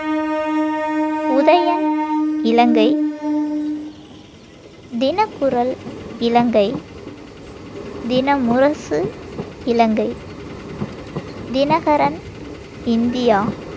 Udayan Ilangai, Thinakkural Ilangai, Thinamurasu Ilangai, Dinakaran India,